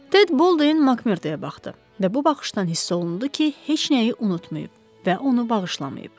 Ted Boldenin Makmerdoya baxdı və bu baxışdan hiss olundu ki, heç nəyi unutmayıb və onu bağışlamayıb.